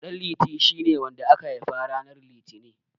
Ɗanliti shine wanda aka haifa ranar Litinin.